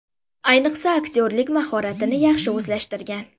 Ayniqsa aktyorlik mahoratini yaxshi o‘zlashtirgan.